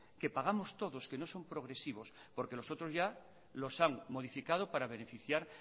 que pagamos todos que no son progresivos porque los otros ya los han modificado para beneficiar